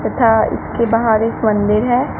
तथा इसके बाहर एक मंदिर है।